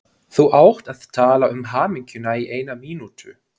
Þú átt að tala um hamingjuna í eina mínútu.